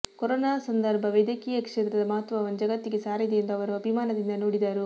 corona ಸಂದರ್ಭ ವೈದ್ಯಕೀಯ ಕ್ಷೇತ್ರದ ಮಹತ್ವವನ್ನು ಜಗತ್ತಿಗೆ ಸಾರಿದೆ ಎಂದು ಅವರು ಅಭಿಮಾನದಿಂದ ನುಡಿದರು